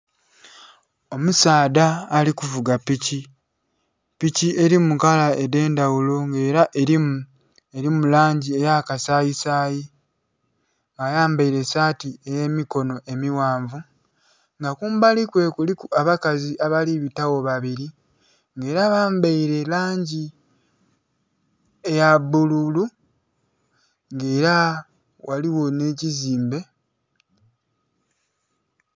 Omusaadha ali kuvuga piki, piki erimu kala edhendhaghulo nga era erimu langi eya kasayisayi ayambaire saati eya mikono amaghanvu nga kumbali kwe kuliku abakazi abali bibagho babiri nga era bambaire langi eya bbululu nga era ghaligho nhe kizimbe.